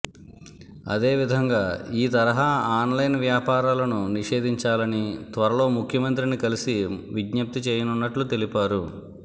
అదేవిధంగా ఈ తరహా ఆన్లైన్ వ్యాపారాలను నిషేధించాలని త్వరలో ముఖ్యమంత్రిని కలిసి విజ్ఞప్తి చేయనున్నట్లు తెలిపారు